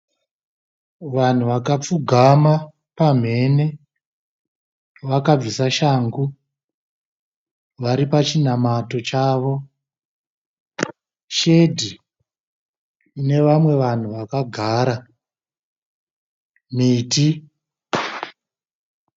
Vanhu vakapfugama pamhene vakabvisa shangu. Varipachinamato chavo. Shedhi ine vamwe vanhu vakagara